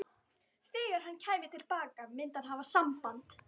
Þegar hann kæmi til baka myndi hann hafa samband.